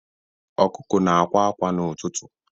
Ọkụkụ na-akwa akwa n'ụtụtụ.